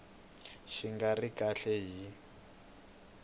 xi nga ri kahle hi